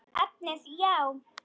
Efnið já?